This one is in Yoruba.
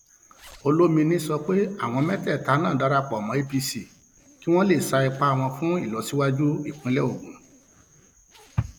olomini sọ pé àwọn mẹtẹẹta náà darapọ mọ apc kí wọn lè sa ipá wọn fún ìlọsíwájú ìpínlẹ ogun